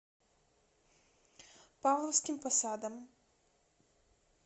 павловским посадом